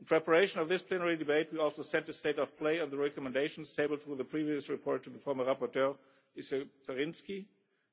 In preparation for this plenary debate we also sent a state of play on the recommendations tabled in the previous report to the rapporteur, Mr Pirinski,